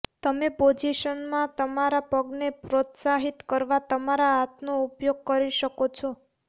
તમે પોઝિશનમાં તમારા પગને પ્રોત્સાહિત કરવા તમારા હાથનો ઉપયોગ કરી શકો છો